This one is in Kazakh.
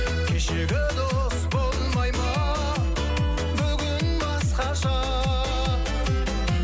кешегі дос болмай ма бүгін басқаша